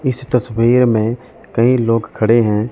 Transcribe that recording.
इस तस्वीर में कई लोग खड़े हैं।